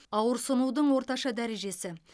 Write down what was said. ауырсынудың орташа дәрежесі